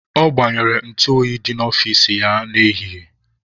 Ọ gbanyere ntụ oyi dị n'ọfici ya n'ehihie.